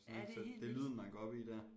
Sådan så det er lyden man går op i dér